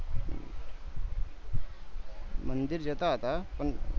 મંદિર જતા હતા